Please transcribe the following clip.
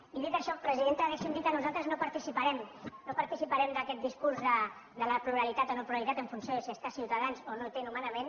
i dit això presidenta deixi’m dir que nosaltres no parti·ciparem d’aquest discurs de la pluralitat o no·pluralitat en funció si hi està ciutadans o no hi té nomenament